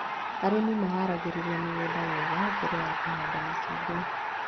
Arĩmi maharagĩrĩria mĩgũnda wega mbere ya kũhanda macungwa